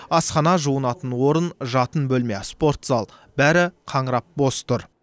асхана жуынатын орын жатын бөлме спорт зал бәрі қаңырап бос тұр